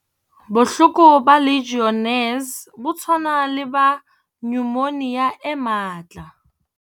Bohloko ba Legionnaires bo tshwana le ba nyomonia e matla.